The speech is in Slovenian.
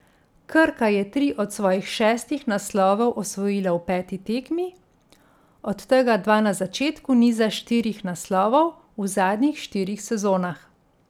Krka je tri od svojih šestih naslovov osvojila v peti tekmi, od tega dva na začetku niza štirih naslovov v zadnjih štirih sezonah.